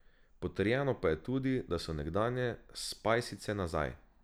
Potrjeno pa je tudi, da so nekdanje spajsice nazaj.